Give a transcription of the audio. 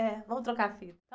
É, vamos trocar a fila.